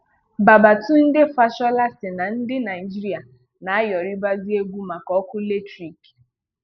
Babatunde Fashola sị na ndị Naịjirịa na ayọrịbazi egwu maka ọkụ latrik